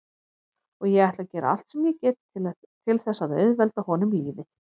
Og ég ætla að gera allt sem ég get til þess að auðvelda honum lífið.